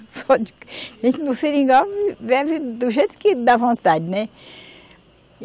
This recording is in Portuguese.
A gente no Seringal vive do jeito que dá vontade, né?